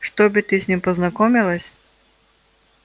чтобы ты с ним познакомилась